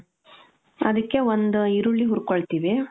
ಅದಕ್ಕೆ ಒಂದು ಈರುಳ್ಳಿ ಹುರ್ಕೊಳ್ತೀವಿ,